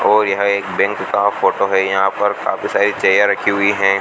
और यहां एक बैंक का फोटो है यहां पर काफी सारी चेयर रखी हुई हैं।